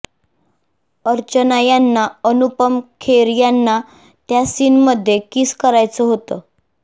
अर्चना यांना अनुपम खेर यांना त्या सीनमध्ये किस करायचं होतं